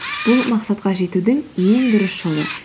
бұл мақсатқа жетудің ең дұрыс жолы